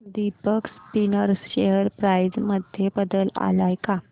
Deepak Spinners share price मध्ये बदल आलाय का